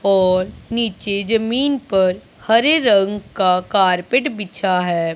और नीचे जमीन पर हरे रंग का कारपेट बिछा है।